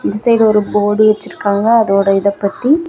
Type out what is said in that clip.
இந்த சைடு ஒரு போர்டு வச்சிருக்கங்க அதோட இத பத்தி.